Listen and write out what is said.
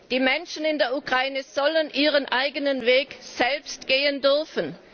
Die Menschen in der Ukraine sollen ihren eigenen Weg selbst gehen dürfen.